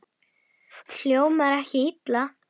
Hljómar ekki illa.